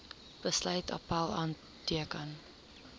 besluit appèl aanteken